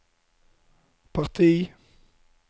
parti